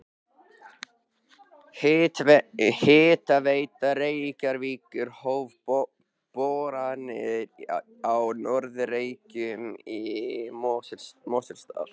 Hitaveita Reykjavíkur hóf boranir á Norður Reykjum í Mosfellsdal.